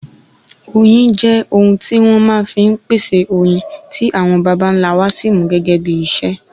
oyin jẹ ohun ti won máa n fi pèsè oyin ti awon bàbá nlá wa Si mu gégé bí iṣẹ